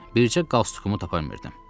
Bircə qalstuku tapa bilmirdim.